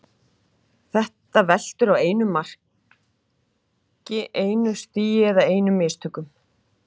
Þetta veltur á einu mark, einu stigi eða einum mistökum.